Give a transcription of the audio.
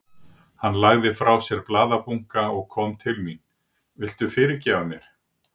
Hann lagði frá sér blaðabunka og kom til mín. Viltu fyrirgefa mér?